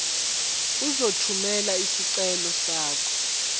uzothumela isicelo sakho